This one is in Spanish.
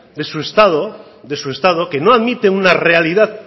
de su estado de su estado que no admiten una realidad